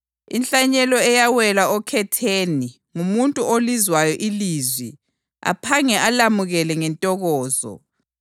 Inhlanyelo eyawela okhetheni ngumuntu olizwayo ilizwi aphange alamukele ngentokozo.